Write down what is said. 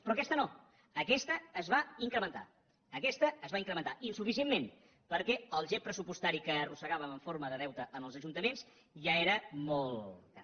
però aquesta no aquesta es va incrementar aquesta es va incrementar insuficientment perquè el gep pressupostari que arrossegàvem en forma de deute en els ajuntaments ja era molt gran